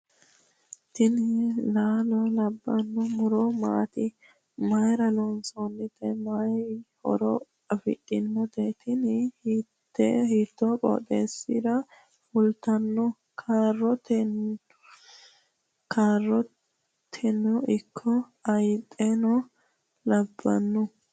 tini laalo labbanno muro maati ? mayra loonsoonnite mayi horo afidhinote ? tiini hiito qooxeesssira fultanno ? kaaroteno ikko hayxeno labbanno .